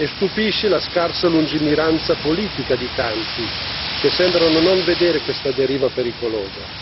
Stupisce la scarsa lungimiranza politica di tanti, che sembrano non vedere questa deriva pericolosa.